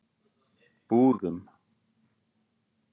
Búðum